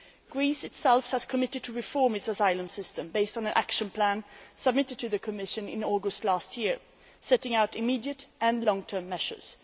Greece itself has committed to reforming its asylum system, based on an action plan submitted to the Commission in August last year setting out immediate and long term measures.